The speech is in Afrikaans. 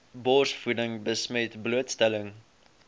borsvoeding besmet blootstelling